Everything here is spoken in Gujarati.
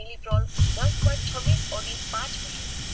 milidrol દસ point છવીસ OD પાંચ મિલિ